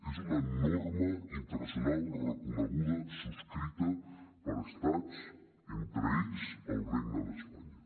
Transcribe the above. és una norma internacional reconeguda subscrita per estats entre ells el regne d’espanya